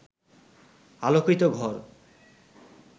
আলোকিত ঘর